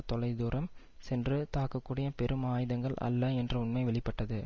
தொலை தூரம் சென்று தாக்கக்கூடிய பெரும் ஆயுதங்கள் அல்ல என்ற உண்மை வெளி பட்டது